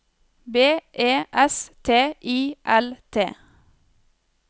B E S T I L T